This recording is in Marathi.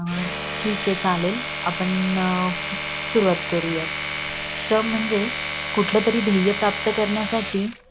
ठीक आहे चालेल आपण न सुरवात करूया श्रम म्हणजे कुठलं तरी ध्येय प्राप्त करण्यासाठी